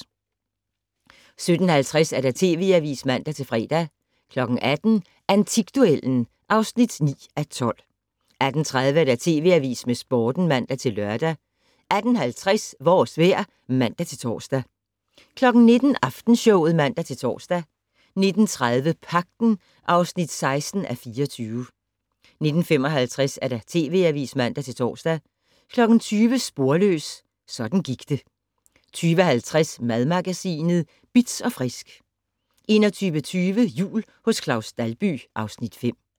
17:50: TV Avisen (man-fre) 18:00: Antikduellen (9:12) 18:30: TV Avisen med Sporten (man-lør) 18:50: Vores vejr (man-tor) 19:00: Aftenshowet (man-tor) 19:30: Pagten (16:24) 19:55: TV Avisen (man-tor) 20:00: Sporløs - sådan gik det 20:50: Madmagasinet Bitz & Frisk 21:20: Jul hos Claus Dalby (Afs. 5)